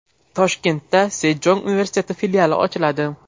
Toshkentda Sejong universiteti filiali ochiladi.